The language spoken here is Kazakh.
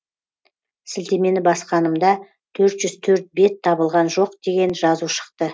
сілтемені басқанымда төрт жүз төрт бет табылған жоқ деген жазу шықты